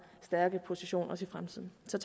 stærke position også i fremtiden så